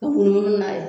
Ka munumunu n'a ye